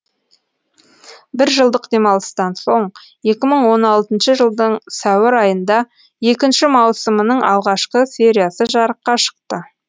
бір жылдық демалыстан соң екі мың он алтыншы жылдың сәуір айында екінші маусымының алғашқы сериясы жарыққа шықты